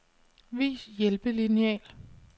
Vis hjælpelineal.